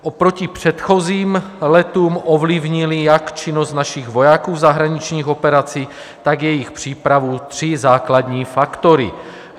Oproti předchozím letům ovlivnily jak činnost našich vojáků v zahraničních operacích, tak jejich přípravu tři základní faktory.